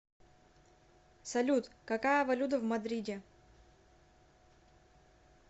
салют какая валюта в мадриде